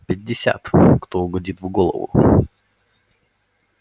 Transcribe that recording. пятьдесят кто угодит в голову